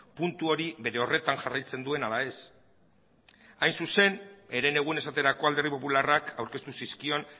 puntu hori bere horretan jarraitzen duen ala ez hain zuzen herenegun esaterako alderdi popularrak aurkeztu zizkion